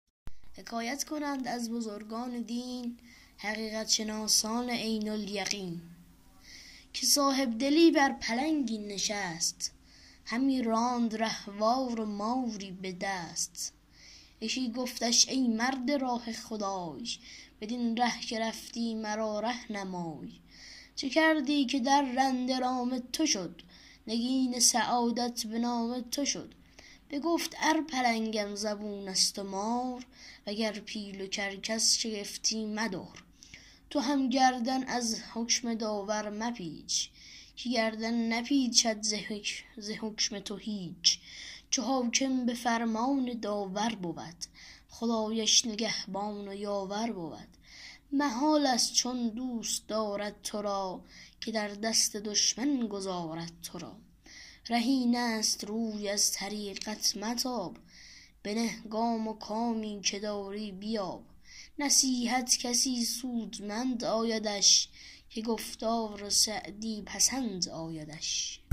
حکایت کنند از بزرگان دین حقیقت شناسان عین الیقین که صاحبدلی بر پلنگی نشست همی راند رهوار و ماری به دست یکی گفتش ای مرد راه خدای بدین ره که رفتی مرا ره نمای چه کردی که درنده رام تو شد نگین سعادت به نام تو شد بگفت ار پلنگم زبون است و مار وگر پیل و کرکس شگفتی مدار تو هم گردن از حکم داور مپیچ که گردن نپیچد ز حکم تو هیچ چو حاکم به فرمان داور بود خدایش نگهبان و یاور بود محال است چون دوست دارد تو را که در دست دشمن گذارد تو را ره این است روی از طریقت متاب بنه گام و کامی که داری بیاب نصیحت کسی سودمند آیدش که گفتار سعدی پسند آیدش